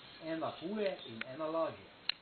Ena huje in ena lažje.